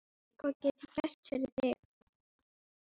Hvað get ég gert fyrir þig?